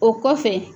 O kɔfɛ